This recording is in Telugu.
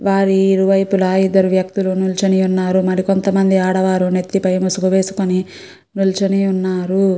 వారి ఇరువైపులా ఇద్దరు వ్యక్తులు నించుని ఉన్నారు మరి కొంతమంది ఆడవారు నెత్తి పై ముసుగు వేసుకుని నిల్చుని ఉన్నారు.